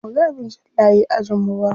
Bamuga abin jan layi a ajin mu ba.